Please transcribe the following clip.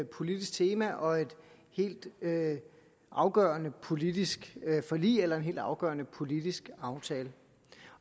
politisk tema og et helt afgørende politisk forlig eller en helt afgørende politisk aftale